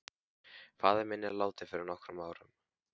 Faðir minn er látinn fyrir nokkrum árum.